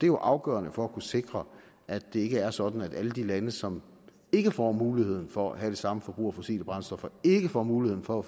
jo afgørende for at kunne sikre at det er sådan at alle de lande som ikke får muligheden for at have det samme forbrug af fossile brændstoffer og ikke får muligheden for at